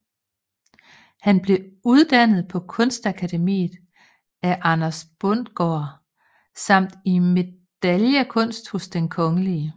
Han blev uddannet på Kunstakademiet af Anders Bundgaard samt i medaillekunst hos Den Kgl